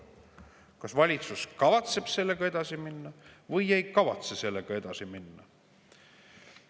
Kas valitsus kavatseb sellega edasi minna või ei kavatse sellega edasi minna?